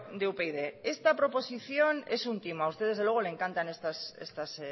de upyd esta proposición es un timo a usted desde luego le encantan estas